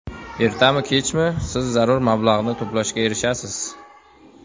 Ertami-kechmi siz zarur mablag‘ni to‘plashga erishasiz.